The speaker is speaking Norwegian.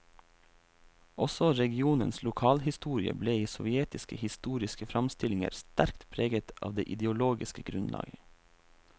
Også regionens lokalhistorie ble i sovjetiske historiske framstillinger sterkt preget av det ideologiske grunnlaget.